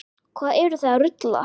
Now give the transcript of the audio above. Hvað eruð þið að rugla?